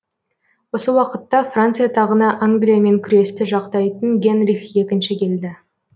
осы уақытта франция тағына англиямен күресті жақтайтын генрих екінші келді